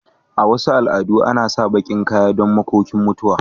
A Wasu al'adu ana sa bakin kaya don makokin mutuwa.